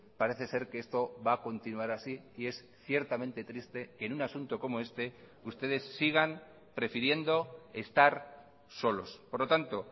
parece ser que esto va a continuar así y es ciertamente triste que en un asunto como este ustedes sigan prefiriendo estar solos por lo tanto